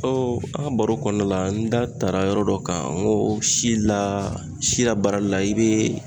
an ka baro kɔnɔna la, n da taara yɔrɔ dɔ kan. N ko si la; si la baarali la i be